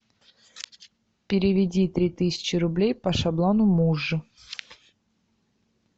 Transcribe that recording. переведи три тысячи рублей по шаблону муж